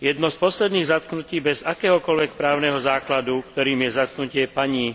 Jedno z posledných zatknutí bez akéhokoľvek právneho základu, ktorým je zatknutie pani